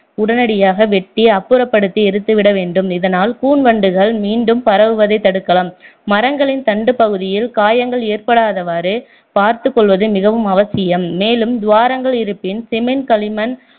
உடனடியாக வெட்டி அப்புறப்படுத்தி எரித்து விட வேண்டும் இதனால் கூன்வண்டுகள் மீண்டும் பரவுவதைத் தடுக்கலாம் மரங்களின் தண்டுப் பகுதியில் காயங்கள் ஏற்படாதவாறு பார்த்துக் கொள்வது மிகவும் அவசியம் மேலும் துவாரங்கள் இருப்பின் cement களிமண்